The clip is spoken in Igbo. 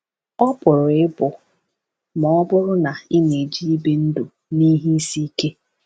Ọ pụrụ ịbụ ma ọ bụrụ na ị na-eji ibi ndụ na ihe isi ike.